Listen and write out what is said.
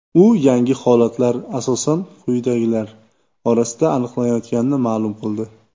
U yangi holatlar asosan quyidagilar: orasida aniqlanayotganini ma’lum qildi.